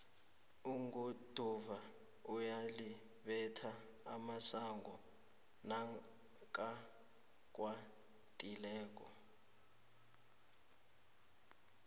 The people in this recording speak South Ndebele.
iguduva uyalibetha umasango nakakwatileko